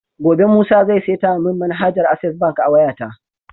Gobe musa zai seta mun manhajar access bank a wayata?